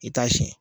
I t'a siyɛn